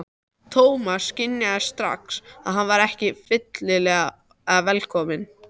Thomas skynjaði strax að hann var ekki fyllilega velkominn.